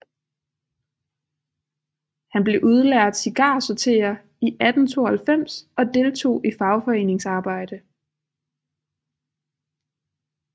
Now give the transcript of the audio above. Han blev udlært cigarsorterer i 1892 og deltog i fagforeningsarbejde